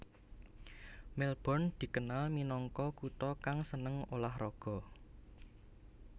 Melbourne dikenal minangka kutha kang seneng ulah raga